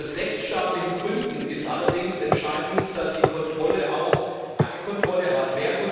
Aus rechtsstaatlichen Gründen ist allerdings entscheidend, dass die Kontrolle auch eine Kontrolle hat.